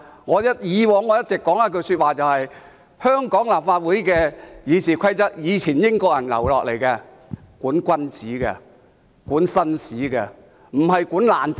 我以往一直說，香港立法會的《議事規則》是以前英國人留下的，是用來管君子、管紳士，而不是管"爛仔"。